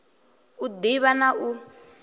u d ivha na u